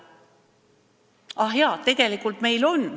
Ah jaa, tegelikult meil on.